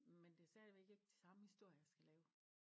Men det er stadigvæk ikke de samme historier jeg skal lave